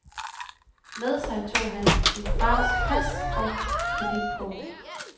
Med sig tog han sin fars pas og kreditkort.